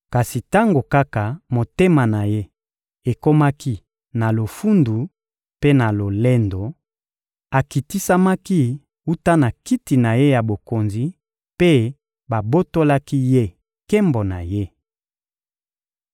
Kasi tango kaka motema na ye ekomaki na lofundu mpe na lolendo, akitisamaki wuta na kiti na ye ya bokonzi mpe babotolaki ye nkembo na ye.